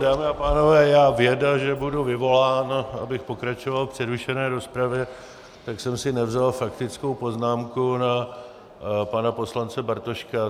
Dámy a pánové, já, věda, že budu vyvolán, abych pokračoval v přerušené rozpravě, tak jsem si nevzal faktickou poznámku na pana poslance Bartoška.